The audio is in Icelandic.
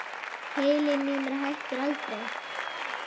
Heilinn í mér hættir aldrei.